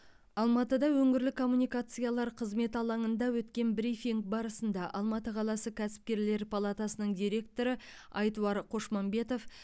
алматыда өңірлік коммуникациялар қызметі алаңында өткен брифинг барысында алматы қаласы кәсіпкерлер палатасының директоры айтуар қошмамбетов